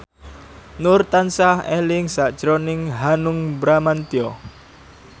Nur tansah eling sakjroning Hanung Bramantyo